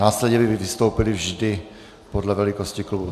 Následně by vystoupili vždy podle velikosti klubů.